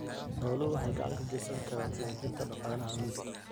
Xooluhu waxay gacan ka geysan karaan xoojinta dhaqaalaha miyiga.